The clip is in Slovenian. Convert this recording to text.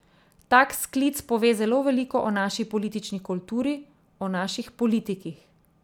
Tak sklic pove zelo veliko o naši politični kulturi, o naših politikih.